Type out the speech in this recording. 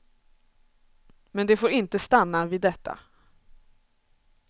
Men det får inte stanna vid detta.